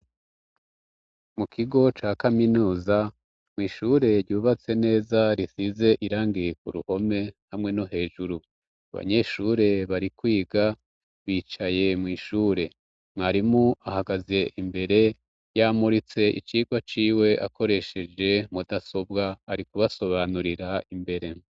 Mu kigo ca kaminuza mw'ishure ryubatse neza risize irangiye ku ruhome hamwe no hejuru abanyeshure bari kwiga bicaye mw'ishure mwarimu ahagaze imbere yamuritse icirwa ciwe akoresheje mudasobwa ari kuba sobanurira imbere.